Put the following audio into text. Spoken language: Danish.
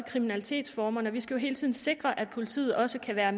kriminalitetsformerne vi skal hele tiden sikre at politiet også kan være